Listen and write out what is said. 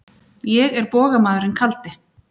Ég er bogamaðurinn kaldi.